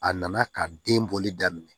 A nana ka den bɔli daminɛ